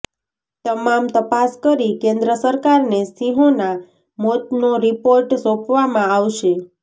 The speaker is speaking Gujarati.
તમામ તપાસ કરી કેન્દ્ર સરકારને સિંહોનાં મોતનો રિપોર્ટ સોંપવામાં આવશે